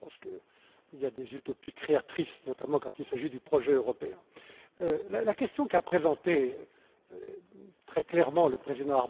Je pense qu'il y a des utopies créatrices, notamment quand il s'agit du projet européen. La question qu'a présentée très clairement M.